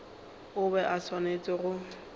o be a swanetše go